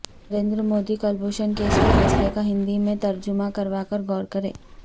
Narendra Modi Kulbhushan case کے فیصلے کا ہندی میں ترجمہ کرواکر غور کریں